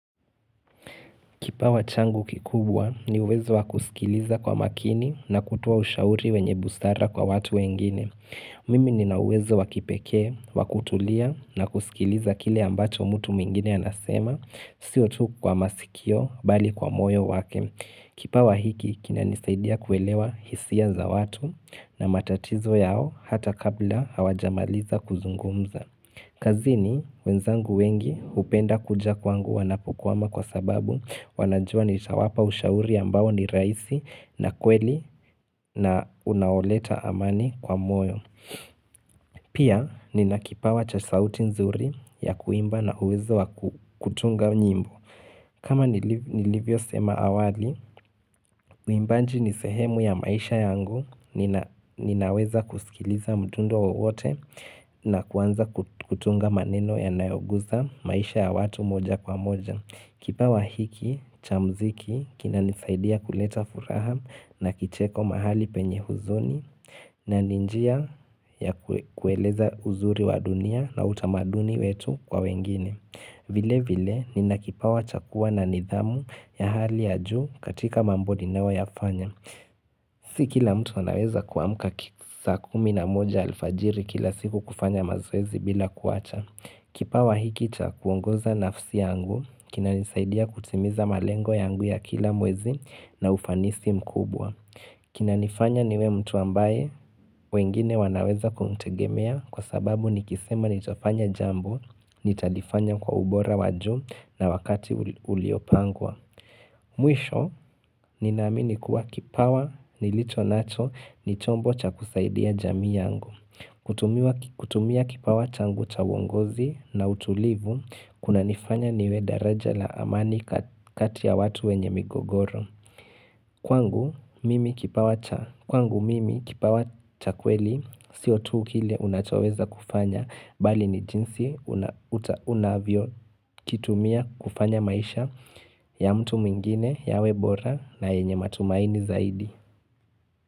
Kipawa changu kikubwa ni uwezo wa kusikiliza kwa makini na kutoa ushauri wenye busara kwa watu wengine. Mimi nina uwezo wa kipekee, wa kutulia na kusikiliza kile ambacho mtu mwingine anasema, sio tu kwa masikio bali kwa moyo wake. Kipawa hiki kinanisaidia kuelewa hisia za watu na matatizo yao hata kabla hawajamaliza kuzungumza. Kazini, wenzangu wengi hupenda kuja kwangu wanapokwama kwa sababu wanajua nitawapa ushauri ambao ni rahisi na kweli na unaoleta amani kwa moyo. Pia, nina kipawa cha sauti nzuri ya kuimba na uwezo wa kutunga nyimbo. Kama nilivyo sema awali, uimbaji ni sehemu ya maisha yangu ninaweza kusikiliza mtungo wote na kuanza kutunga maneno yanayoguza maisha ya watu moja kwa moja. Kipawa hiki, cha mziki, kinanisaidia kuleta furaha na kicheko mahali penye huzuni na ni njia ya kueleza uzuri wa dunia na utamaduni wetu kwa wengine. Vile vile nina kipawa cha kua na nidhamu ya hali ya juu katika mambo ninayo yafanya. Si kila mtu anaweza kuamka saa kumi na moja alfajiri kila siku kufanya mazoezi bila kuacha. Kipawa hiki cha kuongoza nafsi yangu, kinanisaidia kutimiza malengo yangu ya kila mwezi na ufanisi mkubwa. Kinanifanya niwe mtu ambaye, wengine wanaweza kumtegemea kwa sababu nikisema nitafanya jambo, nitalifanya kwa ubora wa juu na wakati uliopangwa. Mwisho, ninaamini kuwa kipawa, nilicho nacho, ni chombo cha kusaidia jamii yangu. Kutumia kipawa changu cha uongozi na utulivu, kunanifanya niwe daraja la amani kati ya watu wenye migogoro. Kwangu mimi kipawa cha kweli sio tu kile unachoweza kufanya bali ni jinsi unavyo kitumia kufanya maisha ya mtu mwingine yawe bora na yenye matumaini zaidi.